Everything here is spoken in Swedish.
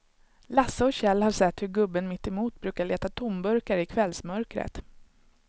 Lasse och Kjell har sett hur gubben mittemot brukar leta tomburkar i kvällsmörkret.